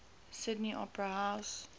sydney opera house